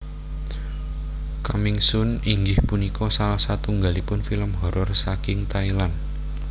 Coming Soon inggih punika salah satunggalipun film horor saking Thailand